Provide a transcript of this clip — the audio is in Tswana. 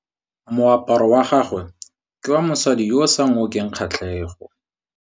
Moaparô wa gagwe ke wa mosadi yo o sa ngôkeng kgatlhegô.